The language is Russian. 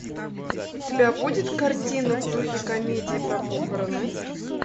у тебя будет картина в духе комедии про похороны